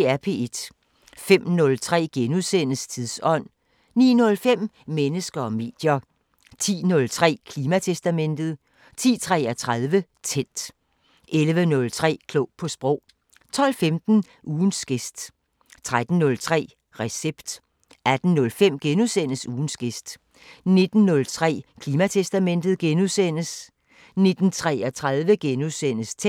05:03: Tidsånd * 09:05: Mennesker og medier 10:03: Klimatestamentet 10:33: Tændt 11:03: Klog på sprog 12:15: Ugens gæst 13:03: Recept 18:05: Ugens gæst * 19:03: Klimatestamentet * 19:33: Tændt *